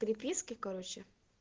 переписки короче